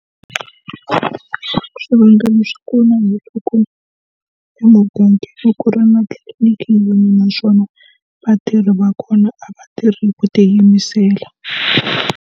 Swivangelo swa kona emugangani ku ri na tliliniki yin'we naswona vatirhi va kona a vatirhi ku tiyimisela.